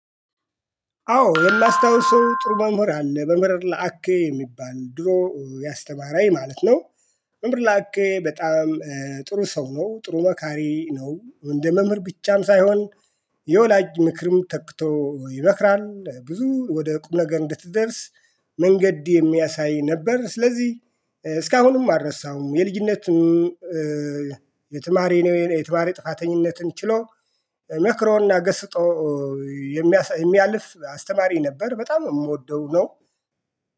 አዎ የማስታውሰው ጥሩ መሞር አለ መምህር ለአኬ የሚባል ድሮ ያስተማረኝ ማለት ነው። መምህር ላቀ በጣም ጥሩ ሰው ነው ጥሩ መካሪ ነው እንደ መምህር ብቻም ሳይሆን። የወላጅ ምክርም ተክቶ ይመክራል ብዙ ወደ ቁም ነገር እንድትደርስ መንገድ የሚያሳይ ነበር። ስለዚህ እስካሁንም አረሳዉም። የልጅነትም የትማረ ነው የትማሪ ጥፋተኝነትን ችሎ መክሮና ገስፆ የሚያልፍ አስተማሪ ነበር። በጣም የምወደው ነው